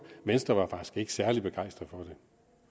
venstre var faktisk ikke særlig begejstret